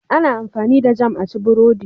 Ana amfani da Jam a ci burodi.